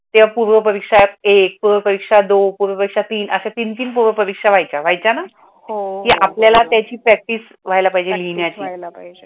त्या पूर्व परीक्षा एक, पूर्व परीक्षा दोन, पूर्व परीक्षा तीन. अशी तीन तीन परीक्षा व्हायच्या वयाच्याना की आपल्याला त्याची प्रॅक्टिस हुवयीला पाईजे लिहाण्याची.